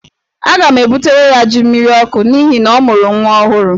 Aga m ebutere ya jí mmiriọkụ n'ihi na ọ mụrụ nwa ọhụrụ.